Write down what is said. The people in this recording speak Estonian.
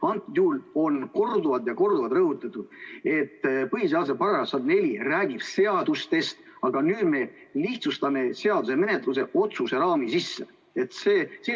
Antud juhul on korduvalt ja korduvalt rõhutatud, et põhiseaduse § 104 räägib seadustest, aga nüüd me lihtsustame seaduse menetlemise otsuse menetlemise raami sisse.